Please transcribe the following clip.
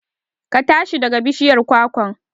Ka tashi daga bishiyar kwakwan!